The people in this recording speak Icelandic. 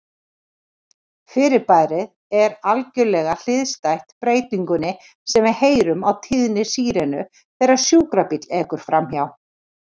Fyrirbærið er algerlega hliðstætt breytingunni sem við heyrum á tíðni sírenu þegar sjúkrabíll ekur framhjá.